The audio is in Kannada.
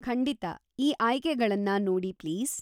ಖಂಡಿತ, ಈ ಆಯ್ಕೆಗಳನ್ನ ನೋಡಿ ಪ್ಲೀಸ್.